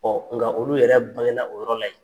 nka olu yɛrɛ baŋena o yɔrɔ la yen.